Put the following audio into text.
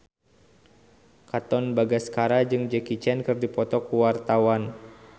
Katon Bagaskara jeung Jackie Chan keur dipoto ku wartawan